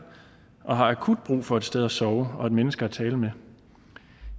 og har akut brug for et sted at sove og et menneske at tale med